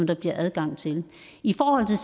der bliver adgang til i forhold til